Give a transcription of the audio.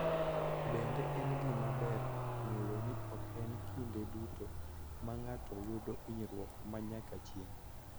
Bende, en gima ber ng�eyo ni ok en kinde duto ma ng�ato yudo hinyruok ma nyaka chieng�.